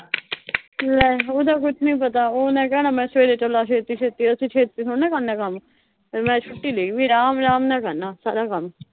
ਲੈ ਉਹਦਾ ਕੁਛ ਨੀਂ ਪਤਾ ਉਹਨੇ ਕਹਿਣਾ ਮੈਂ ਸਵੇਰੇ ਤੁਰਨਾ ਛੇਤੀ-ਛੇਤੀ। ਅਸੀਂ ਛੇਤੀ ਥੋੜ੍ਹੀ ਨਾ ਕਰਨਾ ਕੰਮ। ਮੈਂ ਛੁੱਟੀ ਲਈ ਹੋਈ, ਆਰਾਮ-ਆਰਾਮ ਨਾਲ ਕਰਨਾ ਸਾਰਾ ਕੰਮ